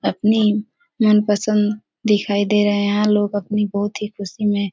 अपनी मनपसंद दिखाई दे रहे है लोग अपनी बहुत ही खुशी में --